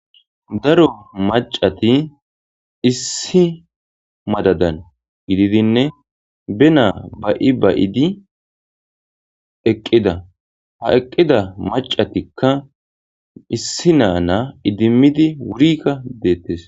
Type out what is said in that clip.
Daro macati issi madadan gididinne be naa ba7i bayidi eqqida ha eqqida macatikka issi naa na idimmidi wurikka deettes